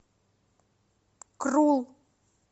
крул